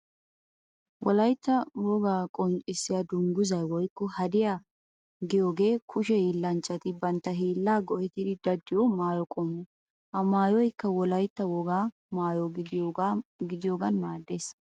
Wolaytta wogaa qonccissiya dunguzzay woykko hadiya giyooge kushe hiillanchchati bantta hiilla go'ettidi daddiyo maayo qommo. Ha maayoykka wolytta wogaa maayo gidiyoogan maaddees.